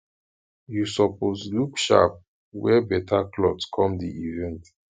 you suppose look sharp wear better cloth come di event